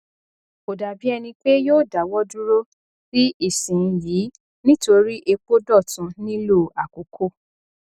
kò dàbí ẹni pé yóò dáwọ dúró sí ìsin yìí nítorí epo dọtun nílò àkókò